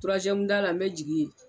turazɛmuda la n be jigin yen